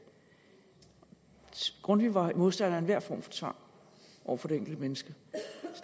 grundtvig var modstander af enhver form for tvang over for det enkelte menneske